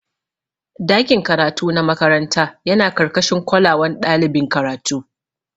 Dakin karatu na makaranta yana karkashin kolawan ɗalibin karatu.